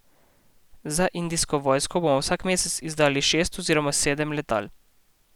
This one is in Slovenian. Za indijsko vojsko bomo vsak mesec izdelali šest oziroma sedem letal.